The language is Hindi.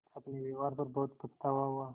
अपने व्यवहार पर बहुत पछतावा हुआ